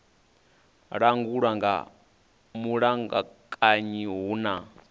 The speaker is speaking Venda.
langulwa nga mulamukanyi hu na